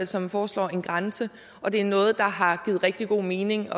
som foreslår en grænse og det er noget der har givet rigtig god mening